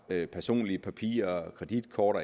personlige papirer kreditkort